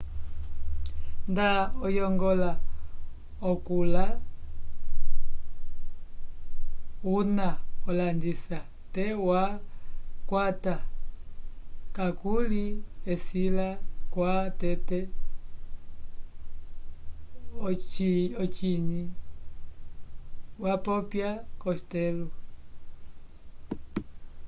nda oyongola okula una olandisa te twa ukwata kakuli esila kwa tete ociny wapopya costello